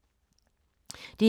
DR1